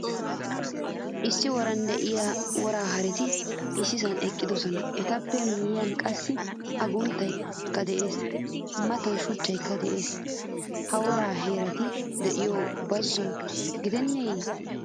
Issi woran deiyaa wora haretti issisan eqqidosona. Etaappe miyiyan qassi agunttaykka de'ees. Maataay shuchchaykka de'ees. Ha wora haretti deiyosay bazzo gideneye?